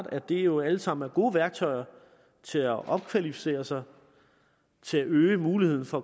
at det jo alt sammen er gode værktøjer til at opkvalificere sig til at øge muligheden for